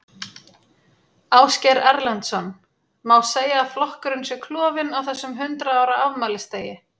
Ásgeir Erlendsson: Má segja að flokkurinn sé klofinn á þessum hundrað ára afmælisdegi?